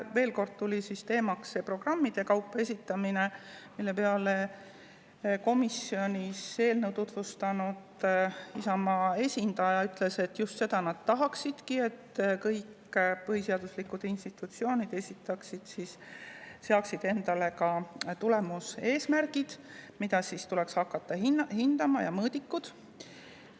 Veel kord tuli teemaks see programmide kaupa esitamine, mille peale komisjonis eelnõu tutvustanud Isamaa esindaja ütles, et just seda nad tahaksidki, et kõik põhiseaduslikud institutsioonid seaksid endale ka tulemuseesmärgid, mida siis tuleks hakata hindama, ja mõõdikud.